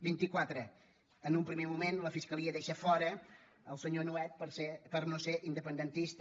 vinti quatre en un primer moment la fiscalia deixa fora el senyor nuet per no ser independentista